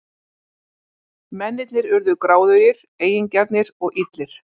Mennirnir urðu gráðugir, eigingjarnir og illir.